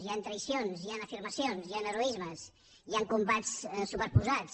hi ha traïcions hi han afirmacions hi han heroismes hi han combats superposats